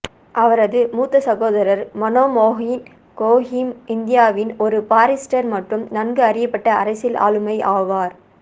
அவரது மூத்த சகோதரர் மோனோமோஹுன் கோஸும் இந்தியாவின் ஒரு பாரிஸ்டர் மற்றும் நன்கு அறியப்பட்ட அரசியல் ஆளுமை ஆவார்